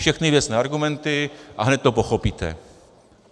Všechny věcné argumenty, a hned to pochopíte.